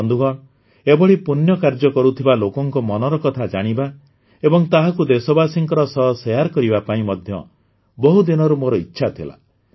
ବନ୍ଧୁଗଣ ଏଭଳି ପୁଣ୍ୟକାର୍ଯ୍ୟ କରୁଥିବା ଲୋକଙ୍କ ମନର କଥା ଜାଣିବା ଏବଂ ତାହାକୁ ଦେଶବାସୀଙ୍କ ସହ ଶେୟାର କରିବା ପାଇଁ ମଧ୍ୟ ବହୁତ ଦିନରୁ ମୋର ଇଚ୍ଛା ଥିଲା